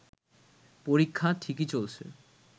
পরীক্ষা ঠিকই চলছে